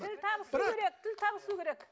тіл табысу керек тіл табысу керек